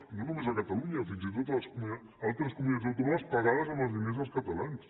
i no només a catalunya fins i tot a altres comunitats autònomes pagades amb els diners dels catalans